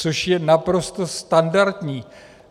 Což je naprosto standardní.